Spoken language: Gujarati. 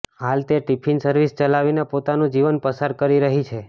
હાલ તે ટિફિન સર્વિસ ચલાવીને પોતાનું જીવન પસાર કરી રહી છે